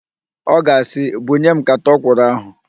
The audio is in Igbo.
Ọ ga-asị, "bunye m nkata ọkwụrụ ahụ"!